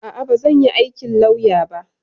A'a, bazan yi aikin lauya ba.